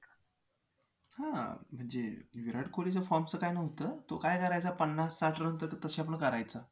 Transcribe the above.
हां म्हणजे विराट कोहलीच्या form च काय नव्हतं तो काय करायचा पन्नास साठ run तशा आपलं करायचा